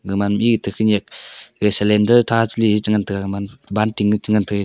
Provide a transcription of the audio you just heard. gaman e to khanyak gag cylinder tha cheley ngantaga gaman banting ye chi ngantai.